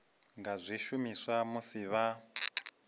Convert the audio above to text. nga zwi shumisa musi vha